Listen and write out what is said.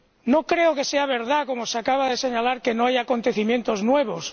No creo que sea verdad, como se acaba de señalar, que no haya acontecimientos nuevos.